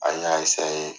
An y'a